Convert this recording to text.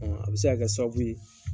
A bɛ se' ka kɛ sababu ye